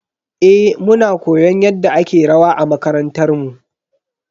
Eh, muna koyon yadda ake rawa a makarantar mu.